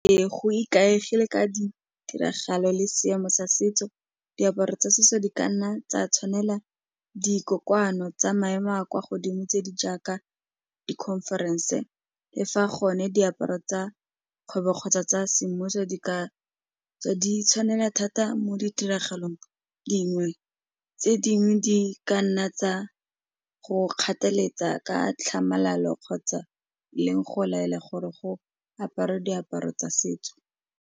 Ee, go ikaegile ka di tiragalo le seemo sa setso diaparo tsa setso di kanna tsa tshwanela tsa maemo a kwa godimo tse di jaaka di-conference-e le fa gone diaparo tsa kgwebo kgotsa tsa semmuso di ka tseo di tshwanela thata mo ditiragalong dingwe tse dingwe di ka nna tsa go kgathaletsa ka tlhamalalo kgotsa le go laela gore go aparwe diaparo tsa setso.